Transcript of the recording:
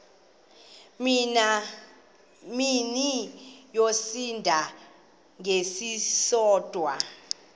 mini yosinda ngesisodwa